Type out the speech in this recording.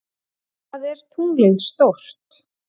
Hvað er tunglið stórt?